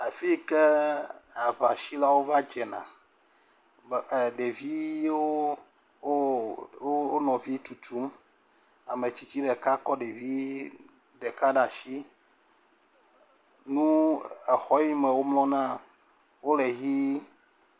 Afi yi ke aŋasilawo va dzena me e ɖeviwo wo wo wo nɔvi tututm. Ame tsitsi ɖeka kɔ ɖevi ɖeka ɖe asi. Nu exɔ yi me womlɔ na wole ʋi.